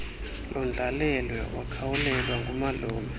londlalelwe wakhawulelwa ngumalume